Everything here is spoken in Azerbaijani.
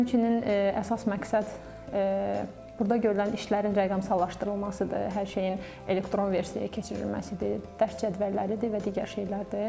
Həmçinin əsas məqsəd burda görülən işlərin rəqəmsallaşdırılmasıdır, hər şeyin elektron versiya keçirilməsidir, dərs cədvəlləridir və digər şeylərdir.